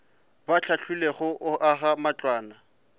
ba hlahlilwego go aga matlwana